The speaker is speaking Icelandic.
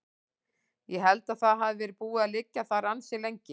Ég held að það hafi verið búið að liggja þar ansi lengi.